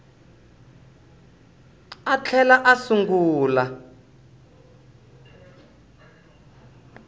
a a tlhela a sungula